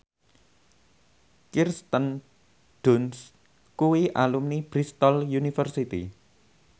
Kirsten Dunst kuwi alumni Bristol university